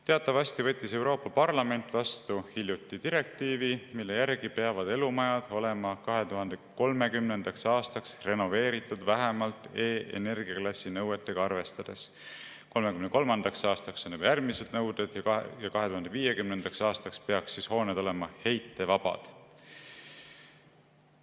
Teatavasti võttis Euroopa Parlament hiljuti vastu direktiivi, mille järgi peavad elumajad olema 2030. aastaks renoveeritud vähemalt E‑energiaklassi nõuetega arvestades, 2033. aastaks on juba järgmised nõuded ja 2050. aastaks peaks hooned olema heitmevabad.